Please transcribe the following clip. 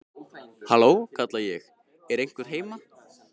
Halló, kalla ég, er einhver heima?